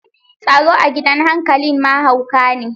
Tsaro a gidan hankalin ma hauka ne.